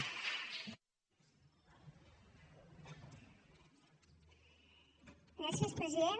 gràcies president